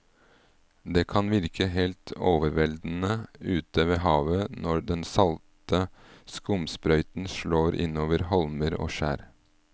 Det kan virke helt overveldende ute ved havet når den salte skumsprøyten slår innover holmer og skjær.